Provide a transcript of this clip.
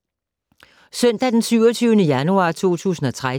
Søndag d. 27. januar 2013